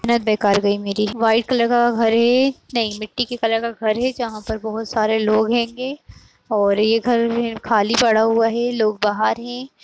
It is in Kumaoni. मेहनत बेकार गई मेरी व्हाइट कलर का घर है नहीं मिट्टी के कलर का घर है जहाँ पर बहोत सारे लोग और ये घर खाली पड़ा हुआ है लोग बाहर हैं।